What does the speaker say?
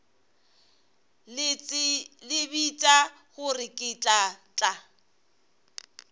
tsebiša gore ke tla tla